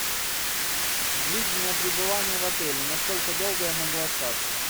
длительное пребывание в отеле насколько долго я могу остаться